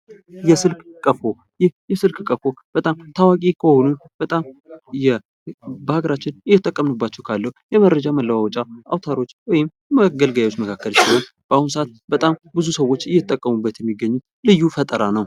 የስልክ ቀፎ በጣም ታዋቂ ከሆኑ በጣም በአገራችን እየተጠቀማንባቸው ካለው የመረጃ መለዋወጫ አውታሮች ወይም መገልገያዎች መካከል ሲሆን፤ በአሁኑ ሰዓት በጣም ብዙ ሰዎች እየተጠቀሙበት የሚገኙት ልዩ ፈጠራ ነው።